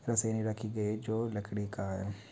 यहीं जो लकड़ी का है।